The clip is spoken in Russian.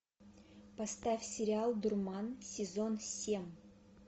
поставь сериал дурман сезон семь